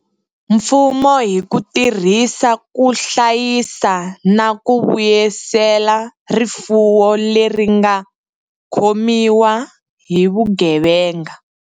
Mfumo hi ku tirhisa ku hlayisa na ku vuyisela rifuwo leri nga khomiwa hi vugevenga.